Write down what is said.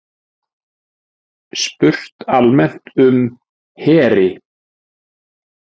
Spurt almennt um heri